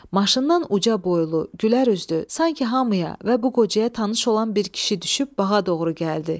Maşından uca boylu, gülərüzlü, sanki hamıya və bu qocaya tanış olan bir kişi düşüb bağa doğru gəldi.